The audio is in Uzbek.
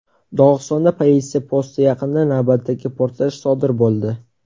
Dog‘istonda politsiya posti yaqinida navbatdagi portlash sodir bo‘ldi.